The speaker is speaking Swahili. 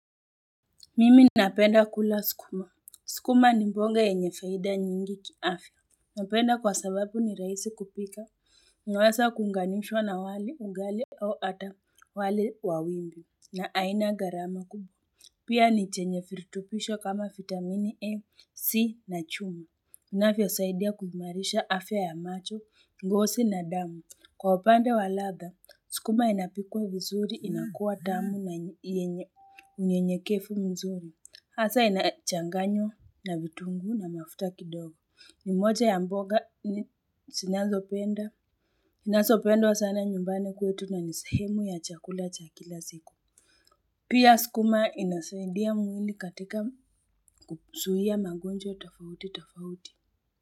Mimi napenda kula sukuma. Sukuma ni mboga yenye faida nyingi kiafya. Napenda kwa sababu ni rahisi kupika. Naweza kuunganishwa na wali, ugali au ata wali wa wimbi. Na aina gharama kubwa. Pia ni chenye virutubisho kama vitamini A, C na chuma. Inavyosaidia kuimarisha afya ya macho, ngozi na damu. Kwa upande wa ladha, sukuma inapikwa vizuri, inakuwa tamu na yenye unyenyekevu mzuri. Hasa inachanganywa na vitunguu na mafuta kidogo. Ni moja ya mboga zinazopenda, zinazopendwa sana nyumbani kwetu na ni sehemu ya chakula cha kila siku. Pia sukuma inasaidia mwili katika kuzuia magonjwa tofauti tofauti.